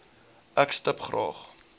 ek stip graag